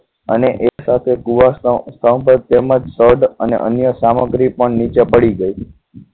અને એક સાથે કુવાસના સ્તંભ તેમજ સ્થળ અને અન્ય સામગ્રી પણ નીચે પડી ગઈ